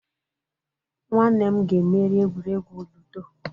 Nwanne m ga emeri egwuregwu ludo.